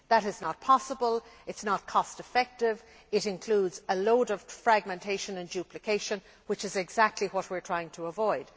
That is not possible or cost effective, and it involves a great deal of fragmentation and duplication, which is exactly what we are trying to avoid.